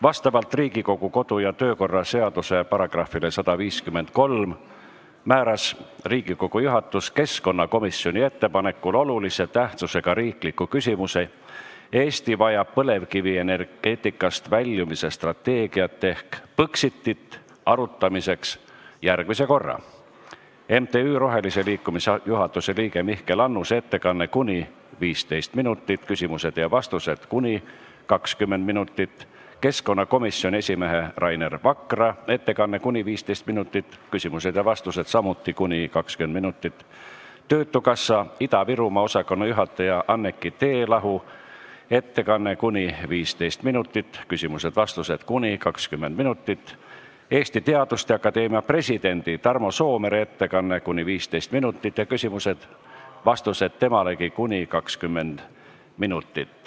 Vastavalt Riigikogu kodu- ja töökorra seaduse §-le 153 määras Riigikogu juhatus keskkonnakomisjoni ettepanekul olulise tähtsusega riikliku küsimuse "Eesti vajab põlevkivienergeetikast väljumise strateegiat ehk Põxitit" arutamiseks järgmise korra: MTÜ Eesti Roheline Liikumine juhatuse liikme Mihkel Annuse ettekanne , küsimused ja vastused , keskkonnakomisjoni esimehe Rainer Vakra ettekanne , küsimused ja vastused , töötukassa Ida-Virumaa osakonna juhataja Anneki Teelahu ettekanne , küsimused ja vastused , Eesti Teaduste Akadeemia presidendi Tarmo Soomere ettekanne ning küsimused temalegi ja vastused .